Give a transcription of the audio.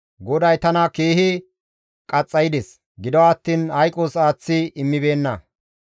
GODAY tana keehi qaxxaydes; gido attiin hayqos aaththi immibeenna.